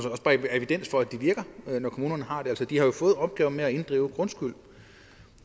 og at det virker når kommunerne har det altså de har jo fået opgaven med at inddrive grundskyld